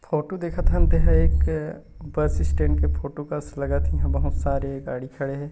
Photo देखत हन ते एक बस स्टेण्ड के फोटो कस लगत हे इहा बहुत सारे गाड़ी खड़े हे।